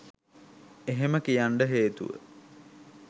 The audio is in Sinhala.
එහෙම කියන්ඩ හේතුව